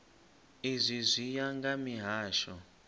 izwi zwi ya nga mihasho